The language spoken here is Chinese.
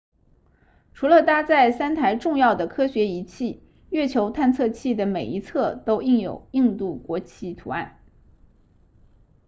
除了搭载三台重要的科学仪器月球探测器的每一侧都印有印度国旗图案